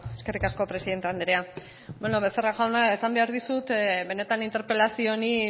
eskerrik asko presidente andrea bueno becerra jauna esan behar dizut benetan interpelazio honi